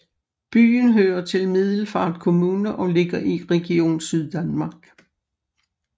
Byen hører til Middelfart Kommune og ligger i Region Syddanmark